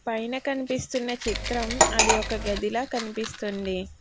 పైన కనిపిస్తున్న చిత్రం అది ఒక గదిలా కనిపిస్తుంది.